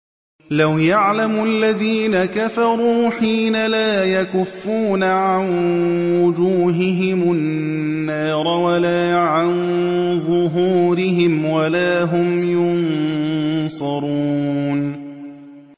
لَوْ يَعْلَمُ الَّذِينَ كَفَرُوا حِينَ لَا يَكُفُّونَ عَن وُجُوهِهِمُ النَّارَ وَلَا عَن ظُهُورِهِمْ وَلَا هُمْ يُنصَرُونَ